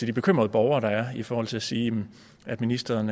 de bekymrede borgere der er i forhold til at sige at ministeren